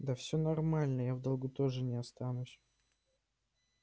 да все нормально я в долгу тоже не останусь